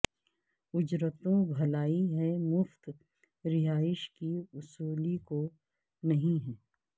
اجرتوں بھلائی ہے مفت رہائش کی وصولی کو نہیں ہے